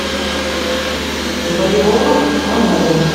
валероном пановым